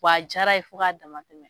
w'a jara ye fo ka dama tɛmɛ